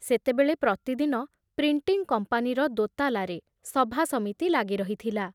ସେତେବେଳେ ପ୍ରତିଦିନ ପ୍ରିଣ୍ଟିଂ କମ୍ପାନୀର ଦୋତାଲାରେ ସଭାସମିତି ଲାଗି ରହିଥିଲା।